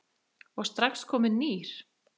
og strax kominn nýr.